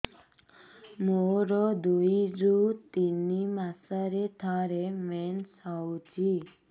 ମୋର ଦୁଇରୁ ତିନି ମାସରେ ଥରେ ମେନ୍ସ ହଉଚି